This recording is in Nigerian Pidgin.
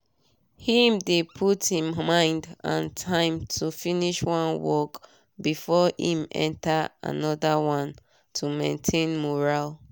him dey put him mind and time to finish one work before him enter anoda one to maintain mural